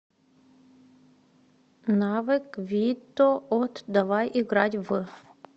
навык витоот давай играть в